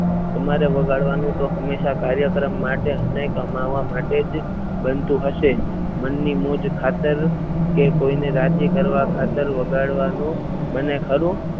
તમારે વગાડવાનું તો હંમેશા કાર્યક્રમ માટે અમને કમાવા માટે જ બનતું હશે મનની મોજ ખાતર કોઈને રાજી કરવા ખાતર વગાડવાનું બને ખરું.